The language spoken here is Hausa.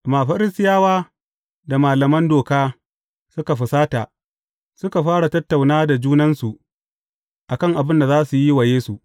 Amma Farisiyawa da malaman Doka suka fusata, suka fara tattauna da junansu a kan abin da za su yi wa Yesu.